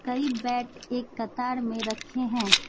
कई बैट एक कतार में रखे हैं।